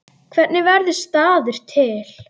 Hvernig verður staður til?